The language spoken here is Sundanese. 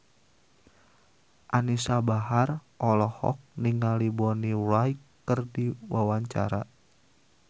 Anisa Bahar olohok ningali Bonnie Wright keur diwawancara